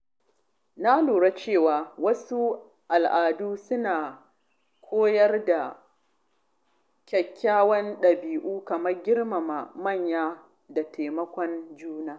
Na lura cewa wasu al’adu suna koyar da kyawawan ɗabi’u kamar girmama manya da taimakon juna.